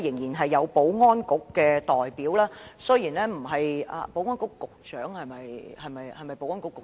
現在保安局代表仍在席，雖然他並非保安局局長；他垂下頭我看不清楚......